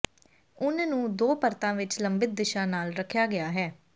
ਉੱਨ ਨੂੰ ਦੋ ਪਰਤਾਂ ਵਿਚ ਲੰਬਿਤ ਦਿਸ਼ਾ ਨਾਲ ਰੱਖਿਆ ਗਿਆ ਹੈ